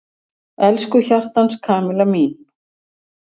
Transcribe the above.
Elsku hjartans Kamilla mín!